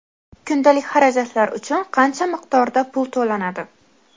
Kundalik xarajatlar uchun qancha miqdorda pul to‘lanadi?.